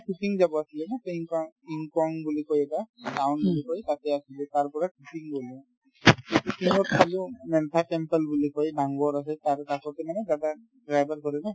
ছিকিম যাব আছিলে ন বুলি কই এটা কিনংকন গাওঁ বুলি কই তাতে আছিলো তাৰ পৰা ছিকিম গ'লো ছিকিমত চালো মেনথান temple বুলি কই নামঘৰ আছে তাৰে কাষতে মানে দাদা driver কৰে ন